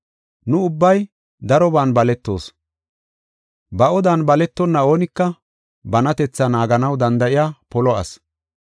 Nu ubbay daroban baletoos. Ba odan baletonna oonika banatetha naaganaw danda7iya polo asi.